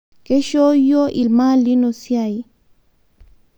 Keishoo yuo lmaalimo siai